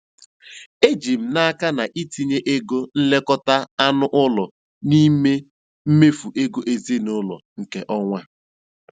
Eji m n'aka na itinye ego nlekọta anụ ụlọ n'ime mmefu ego ezinụlọ nke ọnwa a.